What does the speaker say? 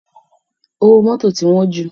Owó mọ́tò ti ń wọ́n jù.